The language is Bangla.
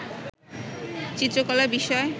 চিত্রকলা বিষয়